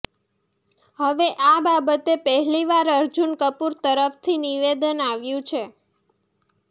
હવે આ બાબતે પહેલીવાર અર્જુન કપૂર તરફથી નિવેદન આવ્યું છે